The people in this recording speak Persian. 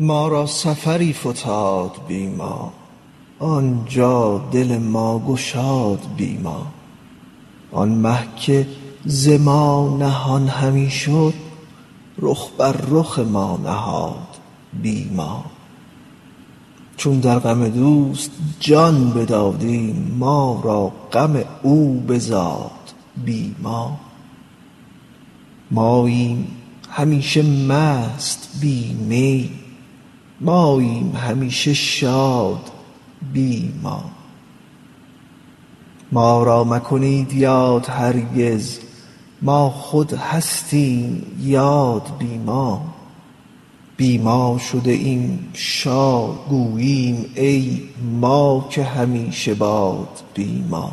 ما را سفری فتاد بی ما آن جا دل ما گشاد بی ما آن مه که ز ما نهان همی شد رخ بر رخ ما نهاد بی ما چون در غم دوست جان بدادیم ما را غم او بزاد بی ما ماییم همیشه مست بی می ماییم همیشه شاد بی ما ما را مکنید یاد هرگز ما خود هستیم یاد بی ما بی ما شده ایم شاد گوییم ای ما که همیشه باد بی ما